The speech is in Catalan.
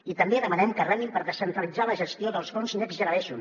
i també demanem que remin per descentralitzar la gestió dels fons next generation